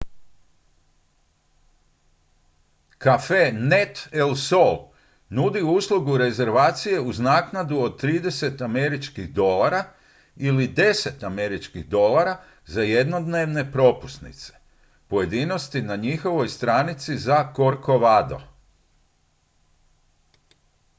cafenet el sol nudi uslugu rezervacije uz naknadu od 30 američkih dolara ili 10 američkih dolara za jednodnevne propusnice pojedinosti na njihovoj stranici za corcovado